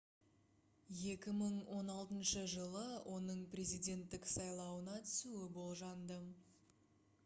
2016-жылы оның президенттік сайлауына түсуі болжанды